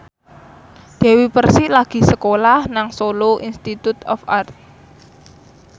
Dewi Persik lagi sekolah nang Solo Institute of Art